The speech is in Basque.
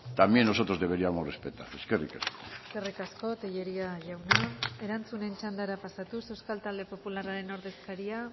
también nosotros deberíamos respetarles eskerrik asko eskerrik asko tellería jauna erantzuten txandara pasatuz euskal talde popularraren ordezkaria